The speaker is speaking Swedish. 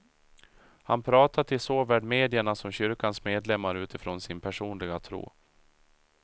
Han pratar till såväl medierna som kyrkans medlemmar utifrån sin personliga tro.